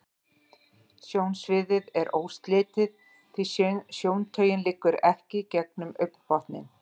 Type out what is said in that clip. Sjónsviðið er óslitið, því sjóntaugin liggur ekki gegnum augnbotninn.